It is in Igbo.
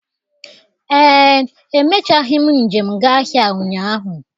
Ee, emechaghị m njem gaa ahịa ụnyaahụ,